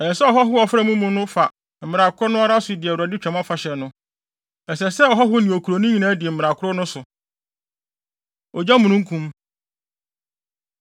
“Ɛsɛ sɛ ɔhɔho a ɔfra mo mu no fa mmara koro no ara so di Awurade Twam Afahyɛ no. Ɛsɛ sɛ ɔhɔho ne okuroni nyinaa di mmara koro no so.” Ogyamununkum